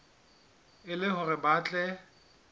e le hore ba tle